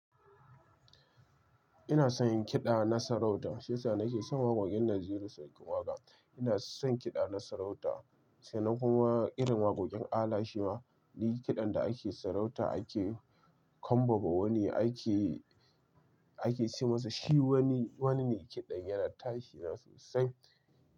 Ina son yin kiɗa na sarauta, saisa nake son waƙoƙin Naziru Sarkin Waƙa. Ina son kiɗa na sarauta, sannan kuma irin waƙoƙin Ala shima. Ni kiɗan da ake sarauta ake kambama wani ake, ake ce masa shi wani, wani me kiɗan yana tashina sosai.